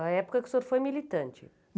Na época que o senhor foi militante.